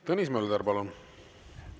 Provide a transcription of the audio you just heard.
Tõnis Mölder, palun!